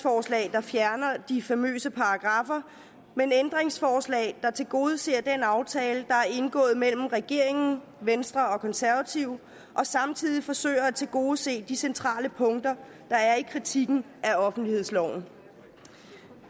der fjerner de famøse paragraffer men ændringsforslag der tilgodeser den aftale der er indgået mellem regeringen venstre og konservative og samtidig forsøger at tilgodese de centrale punkter der er i kritikken af offentlighedsloven